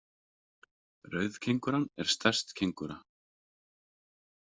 Rauðkengúran er stærst kengúra.